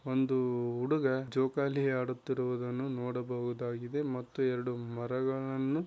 ಒಂದು ಹುಡುಗ ಜೋಕಾಲಿ ಆಡುತ್ತಿರುವುದನ್ನು ನೋಡಬಹುದಾಗಿದೆ ಮತ್ತು ಎರಡು ಮರಗಳನ್ನು --